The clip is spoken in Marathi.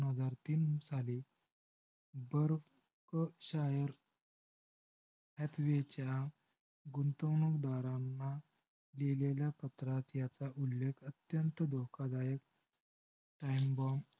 दोन हजार तीन साली बुर्फ शायर ह्या लेखेच्या गुंतवणूक दारांना लिहीलेल्या पत्रात ह्याचा उल्लेख अत्यंत धोखदायक time bomb